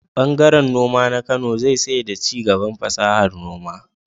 Ɓangaren noma na Kano zai shaida ci gaban fasahar noma.